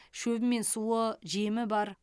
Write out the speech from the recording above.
шөбі мен суы жемі бар